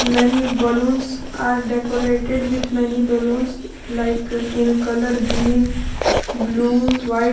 many balloons are decorated with many balloons like in colour green blue white.